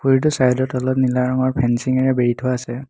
পুখুৰীটোৰ চাইড ত তলত নীলা ৰঙৰ ফেঞ্চিঙেৰে বেৰি থোৱা আছে।